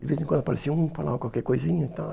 De vez em quando aparecia um, falava qualquer coisinha e tal.